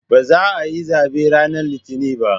Ba za'a yi zabe ranar Litinin ba